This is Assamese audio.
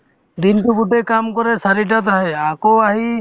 দিনতো গোটে কাম কৰে চাৰিটাত আহে আকৌ আহি